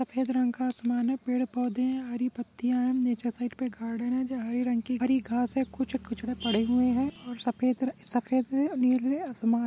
सफेद रंग का आसमान है पेड़ पौधे है हरी पत्तियां हैं नीचे साइड पे एक गार्डन है जो हरे रंग की-- हरी घांस है कुछ कुछ कुचडे पड़े हुए हैं और सफेद सफेद और नीले आसमान--